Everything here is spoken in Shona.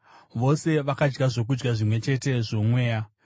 Vose vakadya zvokudya zvimwe chete zvoMweya